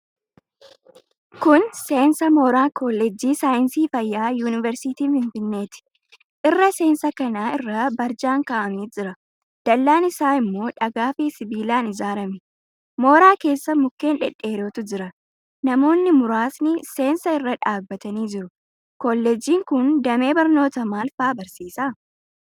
Kun seensa mooraa Kolleejjii Saayinsii Fayyaa Yuunivarsiitii Finfinneeti. Irra seensa kanaa irra barjaan kaa'amee jira. Dallaan isaa immoo dhagaafi sibiilaan ijaarame. Mooraa keessa mukkeen dhedheerootu jira. Namoonni muraasni seensa irra dhaabbatanii jiru. Kolleejjiin kun damee barnootaa maal faa barsiisa?